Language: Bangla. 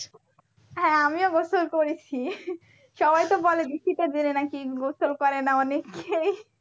হ্যাঁ আমিও গোসল করেছি সবাই তো বলে কি শীতের দিনে নাকি গোসল করে না অনেকেই